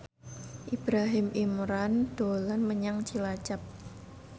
Ibrahim Imran dolan menyang Cilacap